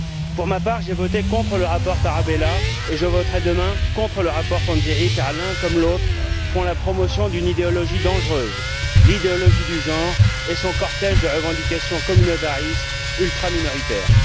Pour ma part, j'ai voté contre le rapport Tarabella et je voterai demain contre le rapport Panzeri, car l'un comme l'autre font la promotion d'une idéologie dangereuse l'idéologie du genre et son cortège de revendications communautaristes ultra minoritaires.